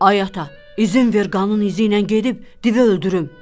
Ay ata, izin ver qanın izi ilə gedib divi öldürüm.